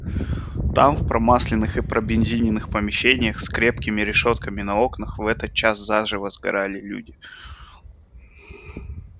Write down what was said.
там в промасленных и пробензиненных помещениях с крепкими решётками на окнах в этот час заживо сгорали люди